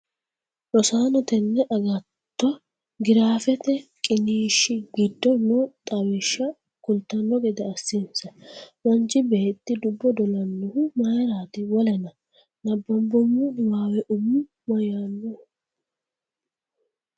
Rosaano teene aggato giraafete qiniishshi giddo noo xawishsha kultanno gede assinssa Manchi beetti dubbo dolanohu mayiraati? Wolena? nabbambummo niwaawehu umu mayyaannoho?